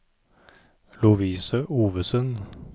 Lovise Ovesen